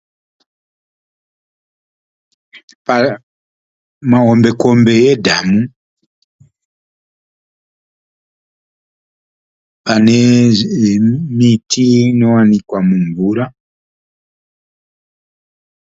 Mahombekombe edhamu, ane miti inowanikwa mumvura.